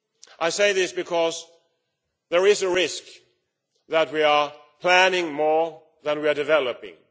I say this because there is a risk that we are planning more than we are developing.